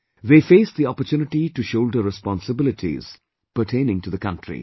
They face the opportunity to shoulder responsibilities pertaining to the Country